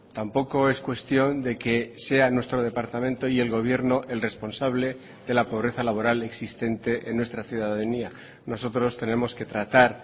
tampoco es cuestión de que sea nuestro departamento y el gobierno el responsable de la pobreza laboral existente en nuestra ciudadanía nosotros tenemos que tratar